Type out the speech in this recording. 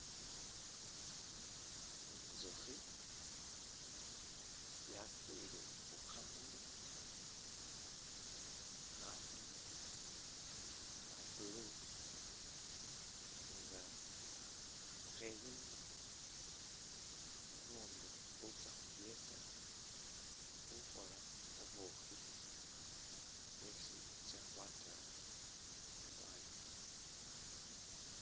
Intsukhi yakwile khukhamuli khamuli kha'blue nga kheyima bubundu butsakhukiyeta khukhola bubukhi bwesi khutsa khwataya khwanywa